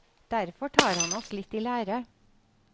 Derfor tar han oss litt i lære.